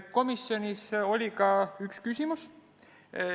Komisjonis oli ka üks küsimus.